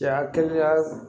Cɛya kɛnɛya